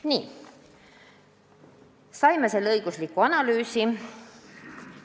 Nii, saime selle õigusliku analüüsi.